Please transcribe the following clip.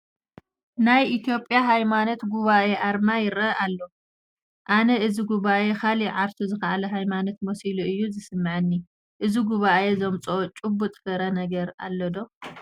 ናይ ኢትዮጵያ ሃይማሄት ጉባኤ ኣርማ ይርአ ኣሎ፡፡ ኣነ እዚ ጉባኤ ካልእ ዓርሱ ዝኸኣለ ሃይማኖት መሲሉ እዩ ዝስምዓኒ፡፡ እዚ ጉባኤ ዘምፅኦ ጭቡጥ ፍረ ነገር ኣሎ ዶ?